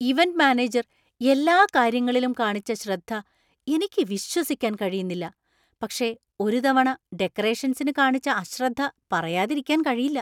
Event manager എല്ലാ കാര്യങ്ങളിലും കാണിച്ച ശ്രദ്ധ എനിക്ക് വിശ്വസിക്കാൻ കഴിയുന്നില്ല, പക്ഷേ ഒരു തവണ ഡെക്കറേഷൻസിനു കാണിച്ച അശ്രദ്ധ പറയാതിരിക്കാൻ കഴിയില്ല.